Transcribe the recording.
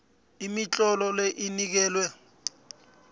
imitlolo le inikelwa